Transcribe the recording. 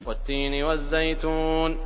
وَالتِّينِ وَالزَّيْتُونِ